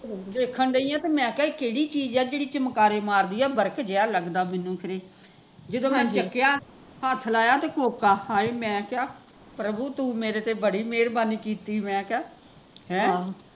ਦੇਖਣ ਡਈ ਆ ਤੇ ਮੈਂ ਕਿਹਾ ਇਹ ਕਿਹੜੀ ਚੀਜ਼ ਆ ਜਿਹੜੀ ਚਮਕਾਰੇ ਮਾਰਦੀ ਆ ਜਿਹਾ ਲਗ਼ਦਾ ਮੈਂਨੂੰ ਖਰੇ ਜਦੋਂ ਮੈਂ ਦੇਖਿਆ, ਹੱਥ ਲਾਇਆ ਤੇ ਕੋਕਾ ਹਾਏ ਮੈਂ ਕਿਹਾ, ਪ੍ਰਭੂ ਤੂ ਮੇਰੇ ਤੇ ਬੜੀ ਮਿਹਰਬਾਨੀ ਕੀਤੀ, ਮੈਂ ਕਿਹਾ ਹੈਂ